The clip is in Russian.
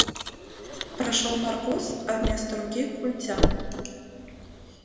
прошёл наркоз а вместо руки культя